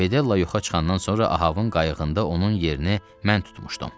Fedella yuxa çıxandan sonra Ahovun qayıqında onun yerini mən tutmuşdum.